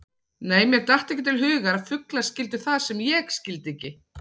Nei, mér datt ekki til hugar að fuglar skildu það sem ég skildi ekki.